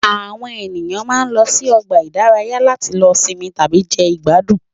Àwọn ènìyàn máa ń lọ sí ọgbà ìdárayá láti lọ sinmi tàbí jẹ ìgbádùn